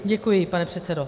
Děkuji, pane předsedo.